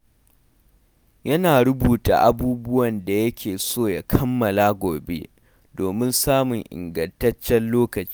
Yana rubuta abubuwan da yake so ya kammala gobe domin samun ingantaccen lokaci.